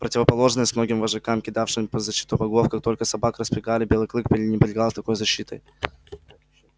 противоположность многим вожакам кидавшим под защиту богов как только собак распрягали белый клык пренебрегал такой защитой